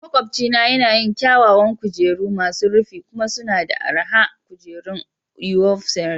Maƙwabcina yana yin kyawawan kujeru masu rufi kuma suna da araha kujeran ufolstery